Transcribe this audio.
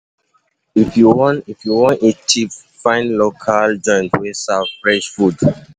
If you wan If you wan eat cheap, find local joint wey serve fresh food.